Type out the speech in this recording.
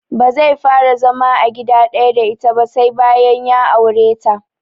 Bazai fara zama a gida ɗaya da ita ba sai bayan ya aure ta